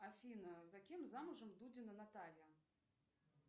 афина за кем замужем дудина наталья